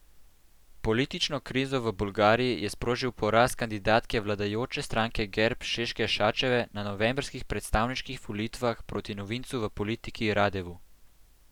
Politično krizo v Bolgariji je sprožil poraz kandidatke vladajoče stranke Gerb Šeške Šačeve na novembrskih predsedniških volitvah proti novincu v politiki Radevu.